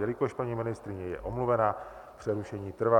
Jelikož paní ministryně je omluvena, přerušení trvá.